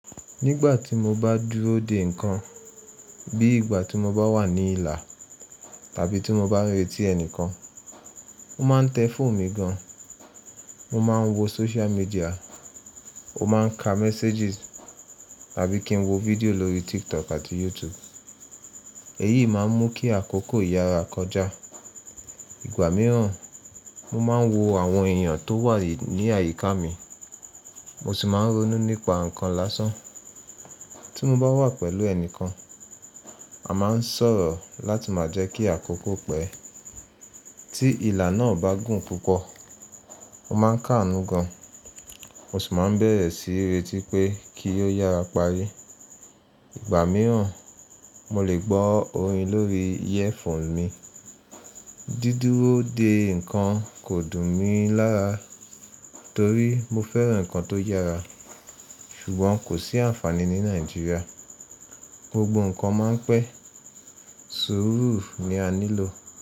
Nígbà tí mo bá dúró de ǹkan bí ìgbà tí mo bá wà ní ilà tàbí tí mo bá ń retí ẹnìkan, mo máa ń tẹ fóònù mi gan, mo máa ń wo social media, mo máa ń ka messages tàbí kí n wo fídíò lórí TikTok àti YouTube. Èyí máa ń mú kí àkókò yára kọjá. Ìgbà mìíràn, mo máa ń wo àwọn èèyàn tó wà ní àyíká mi, mo sì máa ń ronú nípa ǹkan lásán. Tí mo bá wà pẹ̀lú ẹnìkan, a máa ń sọ̀rọ̀ láti máa jẹ́ kí àkókò pẹ́. Tí ilà náà bá gùn púpọ̀, ó máa ń káàánú gan. Mo sì máa ń bẹ̀rẹ̀ sí í retí pé kí ó yára parí. Ìgbà mìíràn, mo lè gbọ́ orin lórí earphone mi. Dídúró de ǹkan kò dùn mí lára torí mo fẹ́ran ǹkan tó yára ṣùgbọ́n kò sí àǹfààní ní Nàìjíríà. Gbogbo ǹkan máa ń pẹ́, sùúrù ni a nílò.